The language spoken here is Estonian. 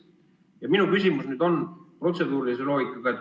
Ja minu küsimus on protseduuri loogika kohta.